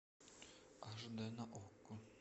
аш дэ на окко